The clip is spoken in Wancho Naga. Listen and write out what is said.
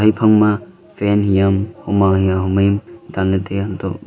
ephangma fan hiyaam ho ma hia ho mai am danla tiya antoh--